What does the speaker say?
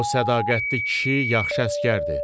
O sədaqətli kişi, yaxşı əsgərdir.